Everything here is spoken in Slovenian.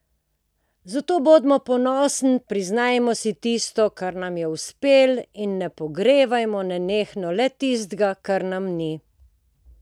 Zato bodimo ponosni, priznajmo si tisto, kar nam je uspelo, in ne pogrevajmo nenehno le tistega, kar nam ni.